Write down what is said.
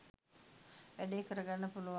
වැඩේ කරගන්න පුළුවන්.